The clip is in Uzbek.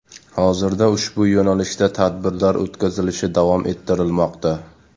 Hozirda ushbu yo‘nalishda tadbirlar o‘tkazilishi davom ettirilmoqda.